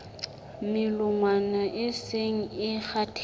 melongwana e seng e kgathetse